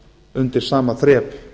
undir sama þrep